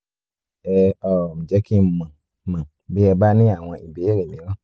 ẹ um jẹ́ kí n mọ̀ n mọ̀ bí ẹ bá ní àwọn ìbéèrè mìíràn